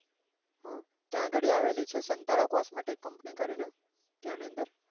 હા ત્યાં ગાડી આવેલી છે સંતારા cosmetic company કરી ને તેની અંદર